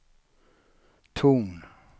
ton